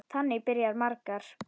Þannig byrja margar.